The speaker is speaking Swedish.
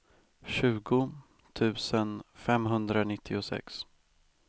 tjugo tusen femhundranittiosex